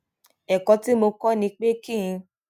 èkó tí mo kó ni pé kí n